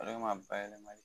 O de ma bayɛlɛmali